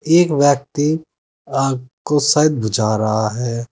एक व्यक्ति आग को शायद बुझा रहा है।